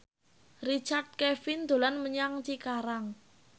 Richard Kevin dolan menyang Cikarang